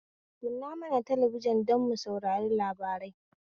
Kunna mana talabijin don mu saurari labarai